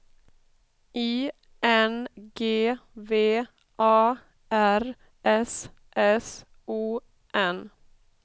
I N G V A R S S O N